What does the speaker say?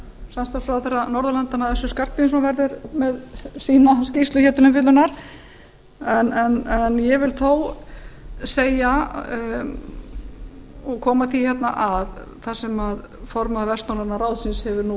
samstarfsráðherra norðurlandanna össur skarphéðinsson verður með sína skýrslu hér til umfjöllunar ég vil þó koma því hérna þar sem formaður vestnorræna ráðsins hefur nú